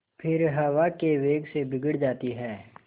फिर हवा के वेग से बिगड़ जाती हैं